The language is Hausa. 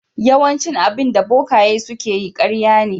Yawaicin abinda bokaye suke yi ƙarya ne.